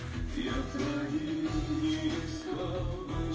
вверх